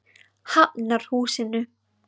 Hafnarhúsinu